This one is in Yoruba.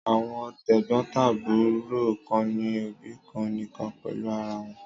Àwọn tẹ̀gbọ́ntàbúrò kan ní òbí kan nìkan pẹ̀lú ara wọn.